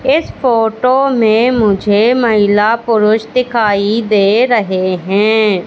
इस फोटो में मुझे महिला पुरुष दिखाई दे रहे है।